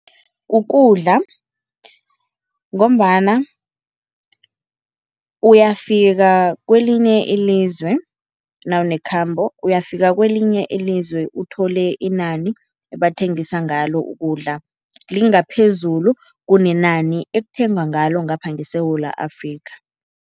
Kukudla ngombana uyafika kwelinye ilizwe nawunekhambo. Uyafika kwelinye ilizwe uthole inani ebathengisa ngalo ukudla lingaphezulu kunenani ekuthengwa ngalo ngapha ngeSewula Afrika.